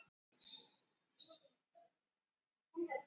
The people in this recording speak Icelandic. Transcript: Er til getnaðarvarnarpilla eða-sprauta fyrir karlmenn?